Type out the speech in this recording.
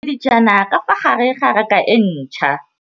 Mmê o beile dijana ka fa gare ga raka e ntšha.